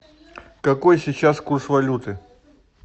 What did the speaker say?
какой сейчас курс валюты